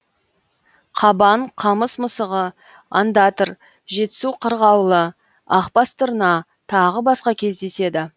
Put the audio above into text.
қабан қамыс мысығы ондатр жетісу қырғауылы ақбас тырна тағы басқа кездеседі